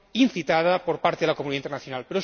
incitada por parte de la comunidad internacional.